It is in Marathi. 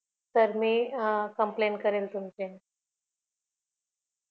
तर मी complaint करेन मी तुमची